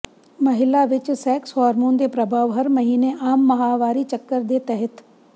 ਮਹਿਲਾ ਵਿੱਚ sex hormone ਦੇ ਪ੍ਰਭਾਵ ਹਰ ਮਹੀਨੇ ਆਮ ਮਾਹਵਾਰੀ ਚੱਕਰ ਦੇ ਤਹਿਤ